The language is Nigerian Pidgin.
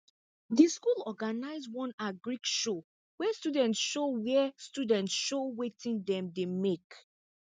the school organize one agric show where students show where students show watin dem make